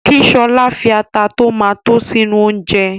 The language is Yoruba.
Kí Ṣọlá fi ata tí ó ma tó sínú oúnjẹ